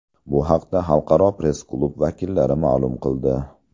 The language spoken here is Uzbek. Bu haqda Xalqaro press-klub vakillari ma’lum qildi.